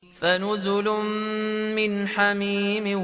فَنُزُلٌ مِّنْ حَمِيمٍ